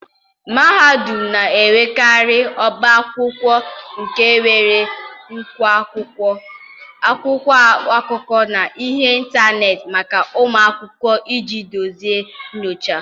mahadum na-enwekarị ọba akwụkwọ nke nwere nnukwu akwụkwọ, akwụkwọ akụkọ, na ihe ntanetị maka ụmụ akwụkwọ iji duzie nyocha.